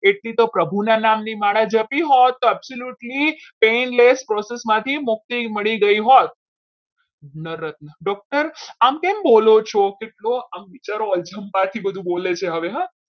એટલી તો પ્રભુના નામની માળા ઝડપી હોત તો absolutely painless process માંથી મુક્તિ મળી ગઈ હો નર રત્ના doctor આમ કેમ બોલો છો? આમ વિચારથી બધું બોલે છે હવે હો.